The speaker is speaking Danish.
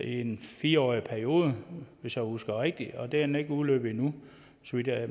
en fire årig periode hvis jeg husker rigtigt og den er ikke udløbet endnu så vidt jeg